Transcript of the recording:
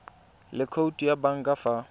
le khoutu ya banka fa